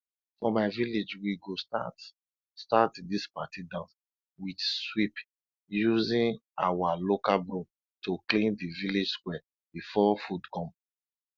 for my village we go start start dis party dance with sweep using our local broom to clean d village square before food come